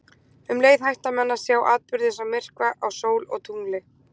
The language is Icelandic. Um leið hætta menn að sjá atburði eins og myrkva á sól og tungli.